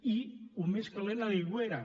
i el més calent a l’aigüera